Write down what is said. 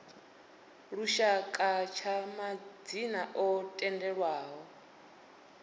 lushaka tsha madzina o tendelwaho